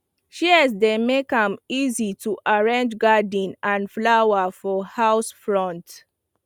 shears dey make am easy to arrange garden and flower for house front